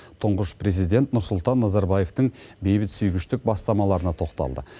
тұңғыш президент нұрсұлтан назарбаевтың бейбітсүйгіштік бастамаларына тоқталды